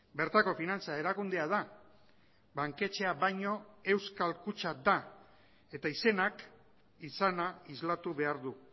bertako finantza erakundea da banketxea baino euskal kutxa da eta izenak izana islatu behar du